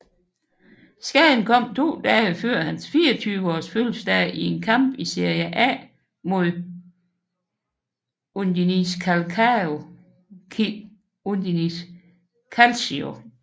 Skaden kom to dage før hans 24 års fødselsdag i en kamp i Serie A mod Udinese Calcio